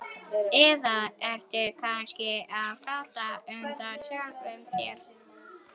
Eða ertu kannski á flótta undan sjálfum þér?